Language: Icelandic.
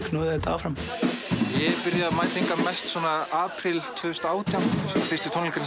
knúði þetta áfram ég byrjaði að mæta hingað mest apríl tvö þúsund og átján fyrstu tónleikarnir